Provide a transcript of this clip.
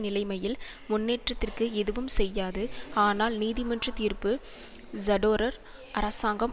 நிலைமையில் முன்னேற்றத்திற்கு எதுவும் செய்யாது ஆனால் நீதிமன்ற தீர்ப்பு சரோடர் அரசாங்கம்